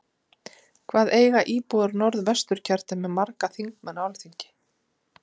Hvað eiga íbúar í Norð-Vestur kjördæmi marga þingmenn á Alþingi?